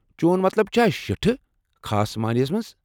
چون مطلب چھا شِٹھہٕ ، خاص معنے ہس منٛز؟